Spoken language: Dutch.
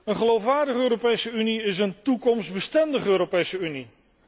Een geloofwaardige Europese Unie is een toekomstbestendige Europese Unie.